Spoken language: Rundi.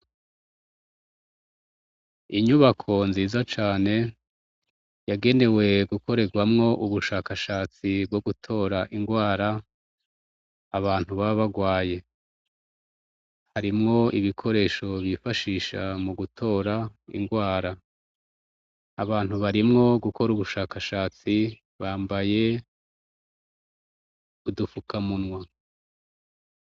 Inyubako nziza cane yagenewe gukorerwamo ubushakashatsi bwo gutora indwara abantu baba barwaye. Harimwo ibikoresho bifashisha mu gutora indwara. Abantu barimwo gukora ubushakashatsi bambaye udufukamunwa.